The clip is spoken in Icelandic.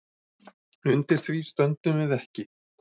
Undir því stöndum við ekki